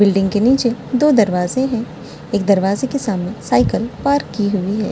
Building के नीचे दो दरवाजे हैं एक दरवाजे के सामने साइकिल पार्क की हुई है ।